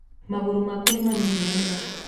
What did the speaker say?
magũrũ maku nĩ manini mũno